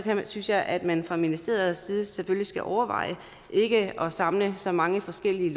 synes jeg at man fra ministeriets side selvfølgelig skal overveje ikke at samle så mange forskellige